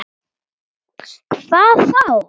Hvað þá!